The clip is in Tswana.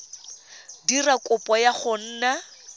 dira kopo ya go nna